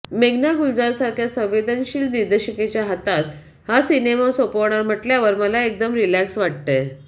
मेघना गुलजारसारख्या संवेदशील दिग्दर्शिकेच्या हातात हा सिनेमा सोपवणार म्हटल्यावर मला एकदम रिलॅक्स वाटतंय